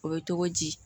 O bɛ togo di